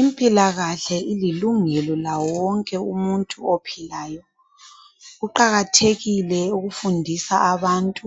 Impilakahle ililungelo lawo wonke umuntu ophilayo, kuqakathekile ukufundisa abantu